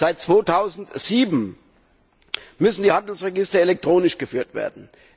Seit 2007 müssen die Handelsregister elektronisch geführt werden.